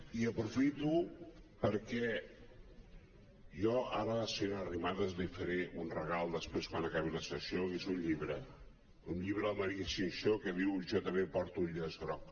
i aprofito perquè jo ara a la senyora arrimadas li faré un regal després quan acabi la sessió i és un llibre un llibre de la maria xinxó que es diu jo també porto el llaç groc